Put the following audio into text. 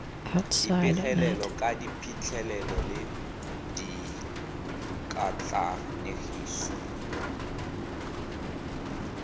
dipegelo ka diphitlhelelo le dikatlanegiso